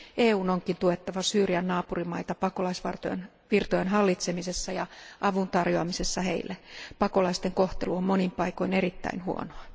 EUn onkin tuettava Syyrian naapurimaita pakolaisvirtojen hallitsemisessa ja avun tarjoamisessa heille. Pakolaisten kohtelu on monin paikoin erittäin huonoa.